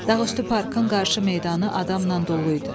Dağüstü parkın qarşı meydanı adamla dolu idi.